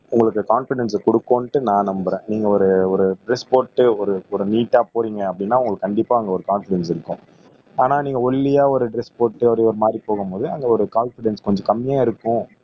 உங்களுக்கு கான்பிடென்ஸ கொடுக்குன்னுட்டு நான் நம்புறேன் நீங்க ஒரு ஒரு டிரஸ் போட்டு ஒரு ஒரு நீட்டா போறீங்க அப்படின்னா உங்களுக்கு கண்டிப்பா அங்க ஒரு கான்பிடென்ஸ் இருக்கும் ஆனா நீங்க ஒல்லியா ஒரு டிரஸ் போட்டு அப்படி ஒரு மாதிரி போகும்போது அந்த ஒரு கான்பிடென்ஸ் கொஞ்சம் கம்மியா இருக்கும்